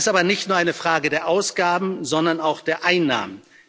Das ist aber nicht nur eine Frage der Ausgaben, sondern auch der Einnahmen.